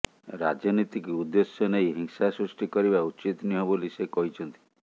ରାଜନୀତିକୁ ଉଦ୍ଦେଶ୍ୟ ନେଇ ହିଂସା ସୃଷ୍ଟି କରିବା ଉଚିତ ନୁହେଁ ବୋଲି ସେ କହିଛନ୍ତି